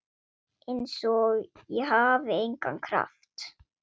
Einsog ég hafi engan kraft.